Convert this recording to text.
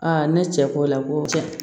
ne cɛ ko